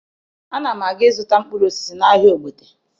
Ana m aga ịzụta mkpụrụ osisi n'ahịa Ogbete